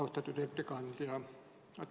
Austatud ettekandja!